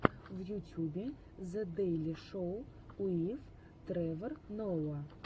в ютьюбе зе дэйли шоу уив тревор ноа